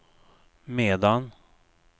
medan